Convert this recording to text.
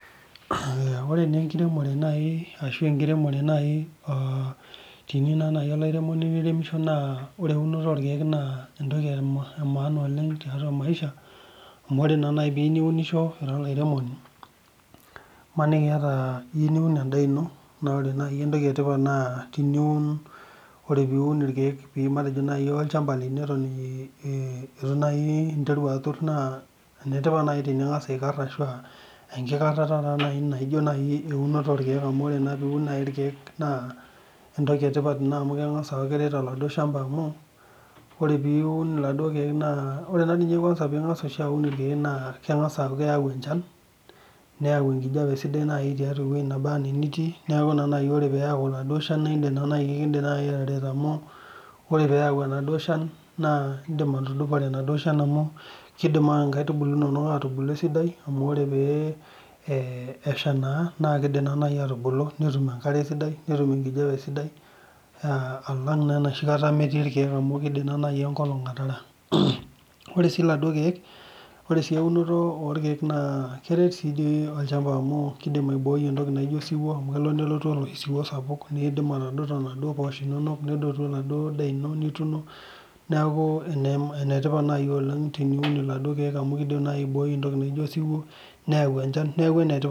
Ore naa enkiremore arashu enkiremore naaji teniyieu naaji olairemoni niremishi naa ore euni orkee naa entoki emaana oleng tiatua maisha ore naa naji piyieu niunisho ira olairemoni emaniki eyiu niun endaa ino naa ore naaji entoki etipat naa ore piun irkeek olchamba lino Eton eitu enteru atur naa enetipat naaji eninteru ang'as aikar enkikarara naijio najii euno orkeek amu ore piun naaji irkeek naa entoki etipat ena amu keng'as aku keret oladuo shamba amu ore piun irkeek ore ninye entoki ekwanza piun irkeek naa keng'as aku keyau enchan neyau enkijiape sidai tewueji nebaa ena enitii neeku tenayau enaduo shan neeku edim atareto amu ore peyau enaduo shan edipa atudupore enaduo shan amu kidim nkaitubulu enono aitubulu esidai amu oree pee eshaa naa kidim naaji aitubulu netum enkare sidai netum enkijiape sidai alang enoshi kata metii irkeek amu kindim naaji enkolog ataara ore sii laduo keek ore sii eunoto orkeek naa keret sii dii olchamba[csamu kindim aiboi entoki naijio osiuo amu kelo nelotu aladuo siwuo ndio atadonoto naaduo poshok inono nedotu enaduo ndaa ino nitumo neeku enetipat oleng teniun eladuo keek amu kindim naaji aiboi entoki naijio osiwuo nayau enchan neeku enetipat oleng